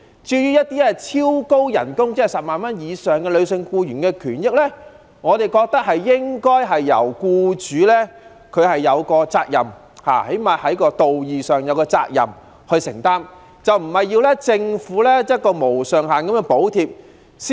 至於一些超高薪金即月薪10萬元以上的女性僱員，我們覺得僱主最低限度在道義上也有責任承擔，而不是要政府"無上限"地補貼。